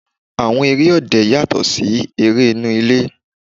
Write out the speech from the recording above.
Àwọn eré òde yàtọ̀ sí eré inú ilé.